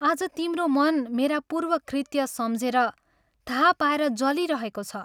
आज तिम्रो मन मेरा पूर्व कृत्य सम्झेर, थाह पाएर जलिरहेको छ।